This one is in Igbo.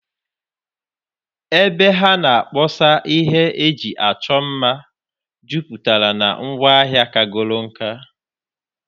Ebe ha na-akpọsa ihe eji achọ mma jupụtara na ngwaa hịa kagoro nkà.